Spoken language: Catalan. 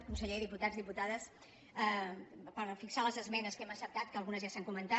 conseller diputats diputades per fixar les esmenes que hem acceptat que algunes ja s’han comentat